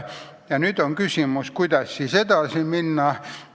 Ja nüüd on küsimus, kuidas edasi minna.